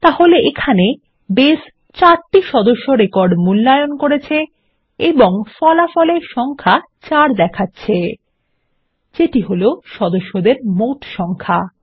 তাহলে এখানে বেস ৪ টি সদস্য রেকর্ড মূল্যায়ন করেছে এবং ফলাফলে সংখ্যা 4 দেখাচ্ছে যেটি হলো সদস্যদের মোট সংখ্যা